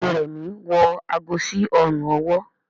Béèni Remi wọ àgó sí Ọrùn ọwọ́.